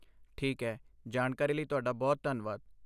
ਠੀਕ ਹੈ, ਜਾਣਕਾਰੀ ਲਈ ਤੁਹਾਡਾ ਬਹੁਤ ਧੰਨਵਾਦ।